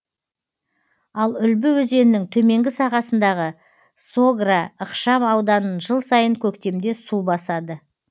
ал үлбі өзенінің төменгі сағасындағы согра ықшам ауданын жыл сайын көктемде су басады